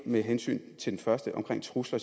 med hensyn til det første om trusler